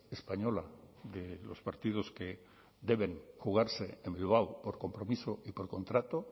española de los partidos que deben jugarse en bilbao por compromiso y por contrato